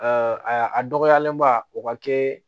a dɔgɔyalenba o ka kɛ